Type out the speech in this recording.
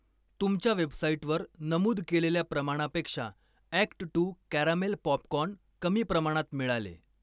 तुमच्या वेबसाइटवर नमूद केलेल्या प्रमाणापेक्षा ॲक्ट टू कॅरामेल पॉपकॉर्न कमी प्रमाणात मिळाले.